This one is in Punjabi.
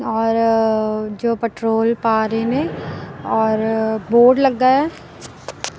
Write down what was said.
ਔਰ ਜੋ ਪੈਟਰੋਲ ਪਾ ਰਹੇ ਨੇ ਔਰ ਬੋਰਡ ਲੱਗਾ ਆ।